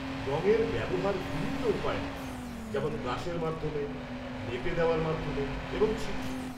-রং এর ব্যবহার বিভিন্ন উপায় হয়, যেমন ব্রাশের মাধ্যমে, লেপে দেওয়ার মাধমে এবং ছিটিয়ে।